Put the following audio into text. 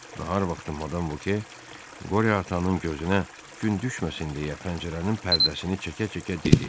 Nahar vaxtı Madam Voke Qoryo atanın gözünə gün düşməsin deyə pəncərənin pərdəsini çəkə-çəkə dedi.